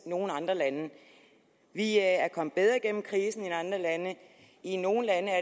nogen andre lande vi er kommet bedre igennem krisen end andre lande i nogle lande er